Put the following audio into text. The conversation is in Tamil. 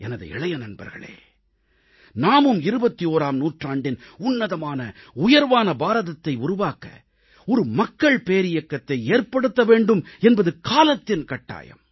எனது இளைய நண்பர்களே நாமும் 21ஆம் நூற்றாண்டின் உன்னதமான உயர்வான பாரதத்தை உருவாக்க ஒரு மக்கள் பேரியக்கத்தை ஏற்படுத்த வேண்டும் என்பது காலத்தின் கட்டாயம்